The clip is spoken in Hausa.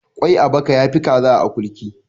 Kwai a baka ya fi Kaza a akurki.